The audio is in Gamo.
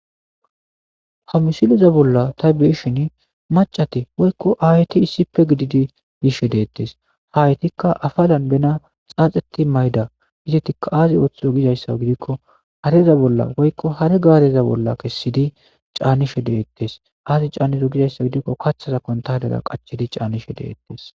Ha missile bolla ta beyashshen macati woyikko ayeti issippe gididi yishshe detes ayetikka afalan bena xaxeti mayida izetikka azi oththizo gizayissa gikko hareza bolla woyikko hare gareza bolla kesidi canishshe detes azi canizo gizayissa gikko kaththaza kuntalera canetes